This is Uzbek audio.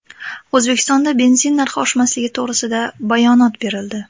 O‘zbekistonda benzin narxi oshmasligi to‘g‘risida bayonot berildi.